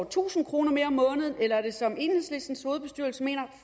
tusind kroner mere om måneden eller er det som enhedslistens hovedbestyrelse mener